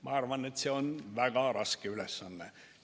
Ma arvan, et see on väga raske ülesanne.